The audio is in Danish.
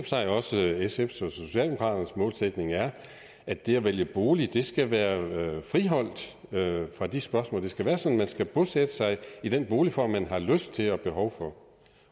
sig også det er sfs og socialdemokraternes målsætning er at det at vælge bolig skal være friholdt fra de spørgsmål det skal være sådan at man skal bosætte sig i den boligform man har lyst til og behov for